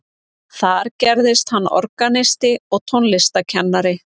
Þar gerðist hann organisti og tónlistarkennari.